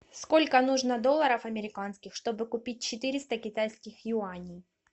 сколько нужно долларов американских чтобы купить четыреста китайских юаней